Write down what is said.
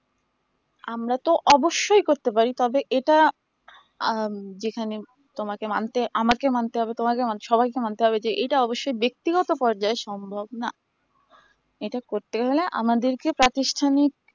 আমরা তো অবশ্যই করতে পারি তবে এটা আহ যেখানে তোমাকে মানতে আমাকে মানতে হবে তোমাকে মানতে হবে সবাইকে মানতে হবে যে এটা অবশ্য ব্যক্তিগত পর্যায়ে সম্ভব না এটা করতে গেলে আমাদেরকে প্রাতিষ্ঠানিক